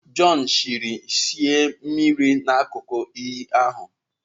John chiri shei mmiri n'akụkụ iyi ahụ.